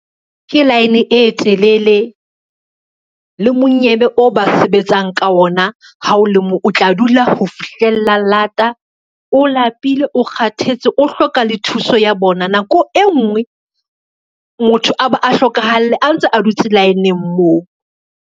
Ke line e telele, le monyebe o ba sebetsang ka ona ha o le moo, o tla dula ho fihlella lata, o lapile, o kgathetse, o hloka le thuso ya bona. Nako e ngwe motho a ba a hlokahale a ntse a dutse line-ng moo.